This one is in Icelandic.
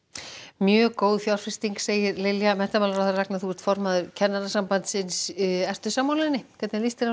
mjög góð fjárfesting segir Lilja Ragnar þú ert formaður Kennarasambandsins ert þú sammála þessu líst þér